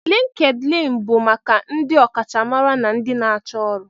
LinkedIn bụ maka ndị ọkachamara na ndị na-achọ ọrụ.